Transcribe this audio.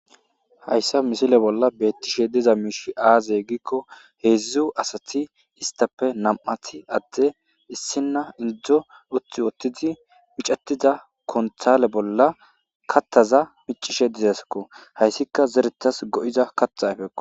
Hayissa missileza bolla bettizayiss aze gizayissa gidikko hezdzdu asati istappe nam"y adde issiniya maca uti utidi kuntale bolla miccisse deettes